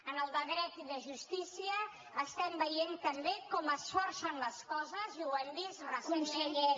en el de dret i de justícia estem veient també com es forcen les coses i ho hem vist recentment